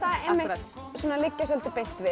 liggja beint við